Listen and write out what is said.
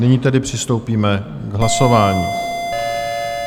Nyní tedy přistoupíme k hlasování.